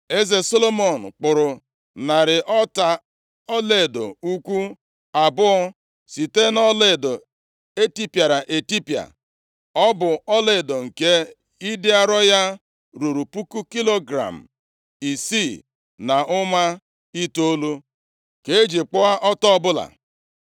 Eze Solomọn kpụrụ narị ọta ọlaedo ukwu abụọ site nʼọlaedo etipịara etipịa. Ọ bụ ọlaedo nke ịdị arọ ya ruru kilogram isii na ụma itoolu ka eji kpụọ ọta ọbụla.